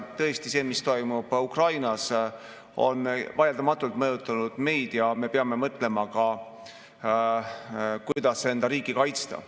Tõesti, see, mis toimub Ukrainas, on vaieldamatult mõjutanud meid ja me peame mõtlema ka, kuidas enda riiki kaitsta.